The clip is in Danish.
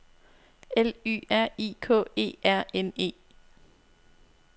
L Y R I K E R N E